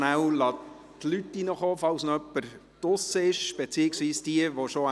Ich warte noch, bis die Leute in den Saal zurückgekommen sind.